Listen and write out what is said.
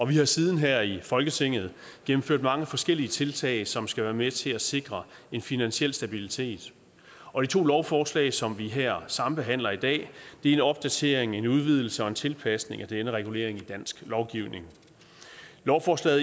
vi har siden her i folketinget gennemført mange forskellige tiltag som skal være med til at sikre en finansiel stabilitet og de to lovforslag som vi her sambehandler i dag er en opdatering en udvidelse og en tilpasning af denne regulering i dansk lovgivning lovforslag